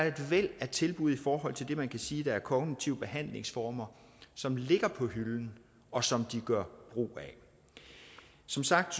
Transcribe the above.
et væld af tilbud i forhold til det man kan sige er kognitive behandlingsformer som ligger på hylden og som de gør brug af som sagt